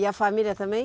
E a família também?